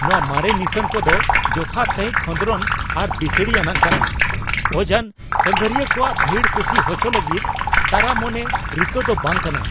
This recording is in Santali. ᱱᱚᱶᱟ ᱢᱟᱨᱮ ᱱᱤᱥᱟᱹᱱ ᱠᱚᱫᱚ ᱡᱚᱛᱷᱟᱛ ᱥᱟᱹᱦᱤᱡ ᱠᱷᱚᱸᱫᱨᱚᱱ ᱟᱨ ᱵᱤᱥᱲᱤ ᱟᱱᱟᱜ ᱠᱟᱱᱟ, ᱚᱡᱟᱱ ᱥᱟᱺᱜᱷᱟᱨᱤᱭᱟᱹ ᱠᱚᱣᱟᱜ ᱵᱷᱤᱲ ᱠᱩᱥᱤ ᱦᱚᱪᱚ ᱞᱟᱹᱜᱤᱫ ᱛᱟᱨᱟ ᱢᱚᱱᱮ ᱨᱤᱠᱟᱹ ᱫᱚ ᱵᱟᱝ ᱠᱟᱱᱟ ᱾